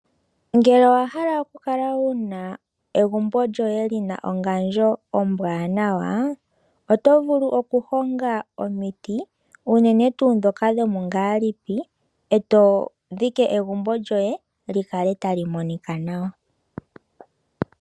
Ngele owa hala okukala wu na egumbo lyoye lina ongandjo ombwanawa, oto vulu okuhonga omiti. Unene tuu dhoka dhomungalipi, e to dhiki egumbo loye li kale tali monika nawa.